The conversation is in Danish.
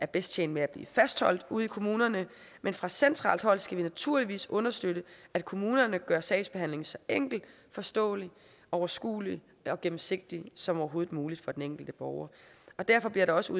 bedst tjent med at blive fastholdt ude i kommunerne men fra centralt hold skal vi naturligvis understøtte at kommunerne gør sagsbehandlingen så enkel forståelig overskuelig og gennemsigtig som overhovedet muligt for den enkelte borger derfor bliver der også